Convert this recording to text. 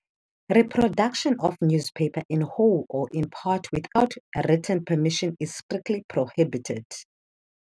Reproduction of newspaper in whole or in part without written permission is strictly prohibited.